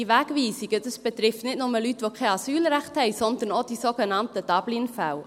Diese Wegweisungen betreffen nicht nur Leute, die kein Asylrecht haben, sondern auch die sogenannten Dublin-Fälle.